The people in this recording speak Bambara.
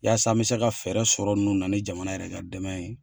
Yaasa n bɛ se ka fɛɛrɛ sɔrɔ ninnu na ni jamana yɛrɛ ka dɛmɛ ye.